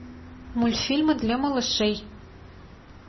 мультфильмы для малышей